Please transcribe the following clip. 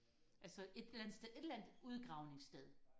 altså et eller andet sted et eller andet udgravningssted